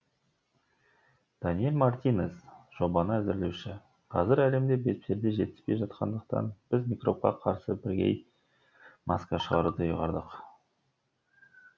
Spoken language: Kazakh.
даниэль мартинез жобаны әзірлеуші қазір әлемде бетперде жетіспей жатқандықтан біз микробқа қарсы бірегей маска шығаруды ұйғардық